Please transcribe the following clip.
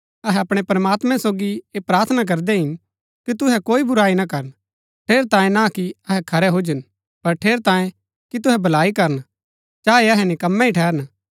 अहै अपणै प्रमात्मैं सोगी ऐह प्रार्थना करदै हिन कि तुहै कोई बुराई ना करन ठेरैतांये ना कि अहै खरै हुजन पर ठेरैतांये कि तुहै भलाई करन चाहे अहै निकम्मे ही ठहरन